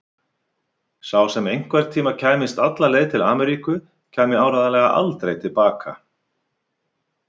Sá sem einhverntíma kæmist alla leið til Ameríku kæmi áreiðanlega aldrei til baka.